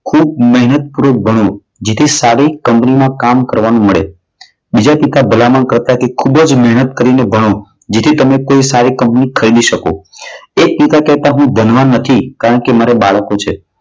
ખૂબ મહેનત કરો ખૂબ ભણો. જેટલી સારી કંપનીમાં કામ કરવાનું મળે. બીજા પિતા ભલામણ કરતા કે ખૂબ જ મહેનત કરીને ભણો જેથી તમે કોઈ સારી કંપની ખરીદી શકો. એક પિતા કહેતા કે હું ધનવાન નથી કારણ કે મારા બાળકો છે.